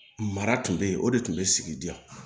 Mara tun bɛ yen o de tun bɛ sigi diya